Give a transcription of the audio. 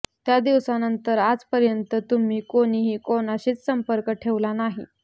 त्या दिवसानंतर आजपर्यंत तुम्ही कुणीही कुणाशीच संपर्क ठेवला नाही